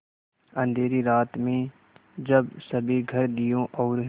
अँधेरी रात में जब सभी घर दियों और